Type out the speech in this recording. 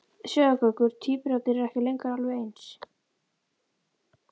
Sjáðu Gaukur, tvíburarnir eru ekki lengur alveg eins.